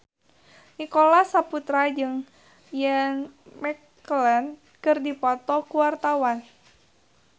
Nicholas Saputra jeung Ian McKellen keur dipoto ku wartawan